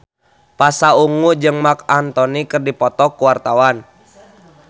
Pasha Ungu jeung Marc Anthony keur dipoto ku wartawan